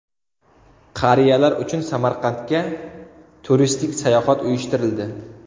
Qariyalar uchun Samarqandga turistik sayohat uyushtirildi.